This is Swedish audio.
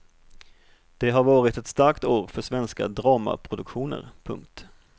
Det har varit ett starkt år för svenska dramaproduktioner. punkt